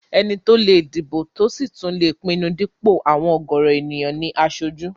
Ẹni tó lè dìbò tí ò sì tún lè pinnu dípò àwọn ọ̀gọ̀rọ̀ èèyàn ní aṣojú